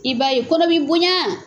I b'a ye kɔnɔ b'i boɲan.